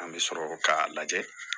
An bɛ sɔrɔ k'a lajɛ